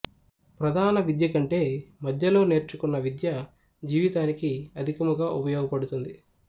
ప్రధాన విద్యకంటే మధ్యలో నెర్చుకున్న విద్య జీవితానికి అధికముగా ఉపయోగపదుతుంది